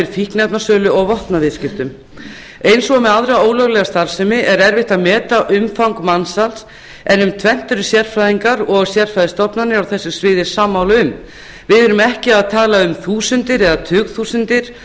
fíkniefnasölu og vopnaviðskiptum eins og með aðra ólöglega starfsemi er erfitt að meta umfang mansals en um tvennt eru sérfræðingar og sérfræðistofnanir á þessu sammála um við erum ekki að tala um þúsundir eða tugþúsundir